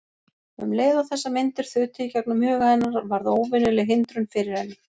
Um leið og þessar myndir þutu í gegnum huga hennar varð óvenjuleg hindrun fyrir henni.